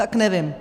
- Tak nevím.